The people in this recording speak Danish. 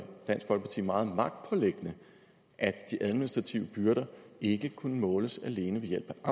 dansk folkeparti meget magtpåliggende at de administrative byrder ikke kunne måles alene ved hjælp af